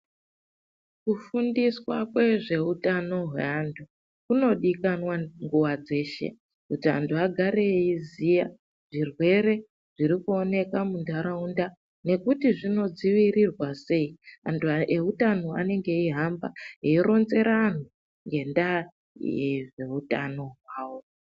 Kufundiswa kwezveutano hweantu kunodivikanwa nguva dzese kuty vanhu vagare iziya zvirwere zviri kuoneka mundaraunda nekuti zvinodzivirirwa sei antu ehutano anenge ehamba erunzira anhu enda ehutano avo